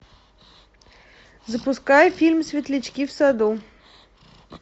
запускай фильм светлячки в саду